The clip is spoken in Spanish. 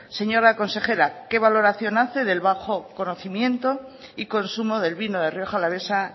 señora consejera qué valoración hace del bajo conocimiento y consumo del vino de rioja alavesa